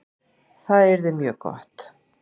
Það yrði mjög gott